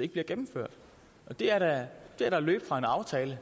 ikke bliver gennemført det er da at løbe fra en aftale